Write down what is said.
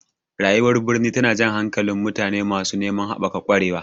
Rayuwar birni tana jan hankalin mutane masu neman haɓaka ƙwarewa.